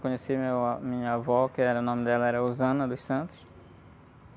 Conheci minha, minha avó, que o nome dela era.